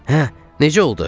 Hə, necə oldu?